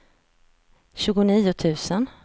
tjugonio tusen